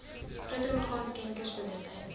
groter orgaan skenkersbewustheid